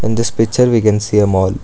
in this picture we can see a mall.